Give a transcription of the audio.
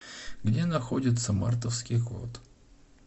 где находится мартовский кот